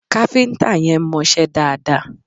Kafinta yẹn mo ṣe dáadáa